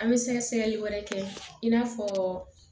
An bɛ sɛgɛsɛgɛli wɛrɛ kɛ in n'a fɔ